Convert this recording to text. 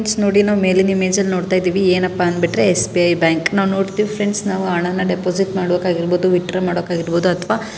friends ನೋಡಿ ನಾವು ಮೇಲಿನ ಇಮೇಜ್ ಅಲ್ಲಿ ನೋಡ್ತಾಇದೇವೆ ಏನಪ್ಪಾ ಅಂದ ಬಿಟ್ರೆ ಎಸ್.ಬಿ.ಐ ಬ್ಯಾಂಕ್ ನಾವ್ ನೋಡ್ತಿವಿ ಫ್ರೆಂಡ್ಸ್ ನಾವು ಹಣ ಅನ್ನ ಡೆಪಾಸಿಟ್ ಮಾಡ್ಬೇಕಾಗಿರಬಹುದು ವಿತ್ಡ್ರಾ ಮಾಡ್ಬೇಕಾಗಿರಬಹುದು ಅಥವ--